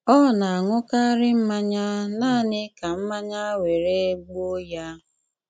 Ọ ná-aṅúkárí mmányá náaní ká mmányá wéré-gbúo yá.